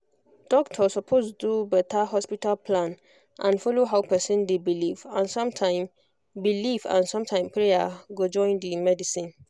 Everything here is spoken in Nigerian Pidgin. doctor suppose do better hospital plan and follow how person dey believe and sometime believe and sometime prayer go join the medicine